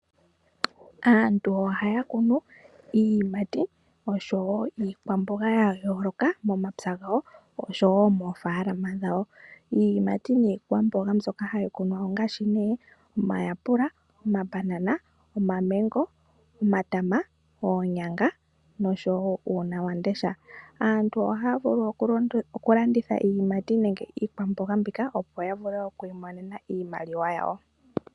Aantu ohaya kunu iiyimati oshowo iikwamboga ya yooloka momapya gawo oshowo moofaalama dhawo. Iiyimati niikwamboga mbyoka hayi kunwa ongaashi omayapula, omabanana, omamengo, omatama, oonyanga, noshowo uunawamundesha. Aantu ohaya vulu okulanditha iiyimati nenge iikwamboga mbika, opo ya vule okwiimonena iimaliwa yawo.